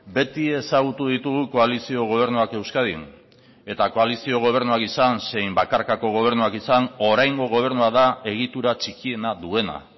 beti ezagutu ditugu koalizio gobernuak euskadin eta koalizio gobernuak izan zein bakarkako gobernuak izan oraingo gobernua da egitura txikiena duena